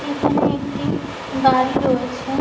এখানে একটি গাড়ি রয়েছে।